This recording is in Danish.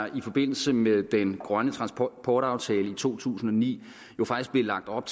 i forbindelse med den grønne transportaftale i to tusind og ni faktisk blev lagt op